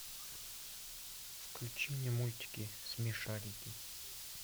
включи мне мультики смешарики